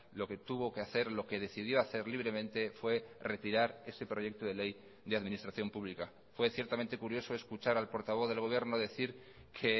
lo que tuvo que hacer lo que decidió hacer libremente fue retirar ese proyecto de ley de administración pública fue ciertamente curioso escuchar al portavoz del gobierno decir que